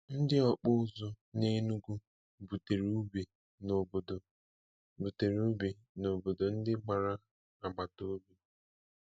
Ndị okpụ ụzụ n'Enugu butere ube n'obodo butere ube n'obodo ndị gbara agbata obi.